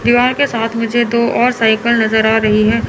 दीवार के साथ मुझे दो और साइकल नजर आ रही है।